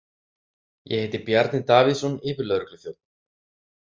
Ég heiti Bjarni Davíðsson, yfirlögregluþjónn.